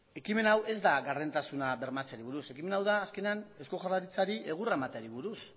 ekimen hau ez da gardentasuna bermatzeari buruz ekimen hau da azkenean eusko jaurlaritzari egurra emateari buruz